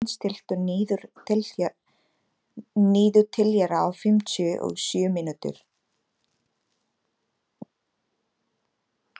Marthen, stilltu niðurteljara á fimmtíu og sjö mínútur.